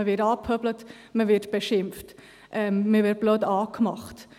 Man wird angepöbelt, man wird beschimpft, man wird blöd angemacht.